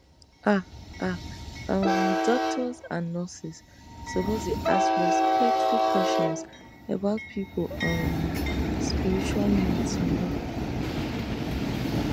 ah ah um doctors and nurses suppose dey ask respectful questions about people um spiritual needs you know